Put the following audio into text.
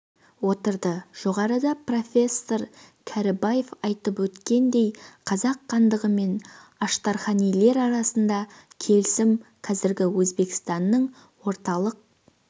отырды жоғарыда профессор кәрібаев айтып өткендей қазақ хандығы мен аштарханилер арасындағы келісім қазіргі өзбекстанның орталық